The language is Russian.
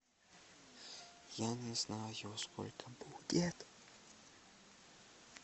я не знаю сколько будет